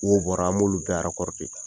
Wow bɔra an b'olu bɛɛ arakɔride